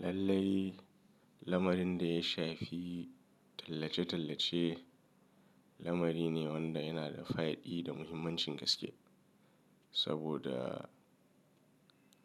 Lallai lamarin da ya shafi tallace-tallace lamari ne wanda yana da fa'idi da muhimmancin gaske. Saboda